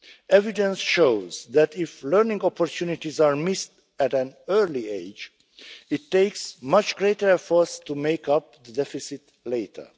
Evidence shows that if learning opportunities are missed at an early age, it takes much greater efforts to make up the deficit later.